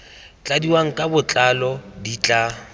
tladiwang ka botlalo di tla